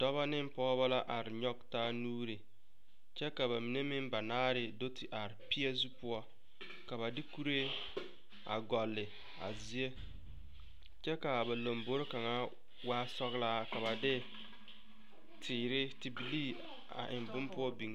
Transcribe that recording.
Dɔba ne pɔgeba la are nyɔge taa nuuri kyɛ ka ba mine meŋ banaare do te are peɛzu poɔ ka a ba de kuree a gɔlle a zie kyɛ ka ba lambogre kaŋa waa sɔglaa kyɛ ka ba de teere tebilii a eŋ bonne poɔ biŋ.